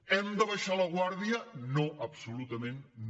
hem d’abaixar la guàrdia no absolutament no